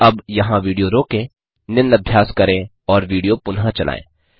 अतः अब यहाँ विडियो रोकें निम्न अभ्यास करें और विडियो पुनः चलायें